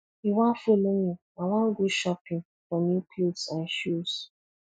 you wan follow me i wan go shopping for new cloths and shoes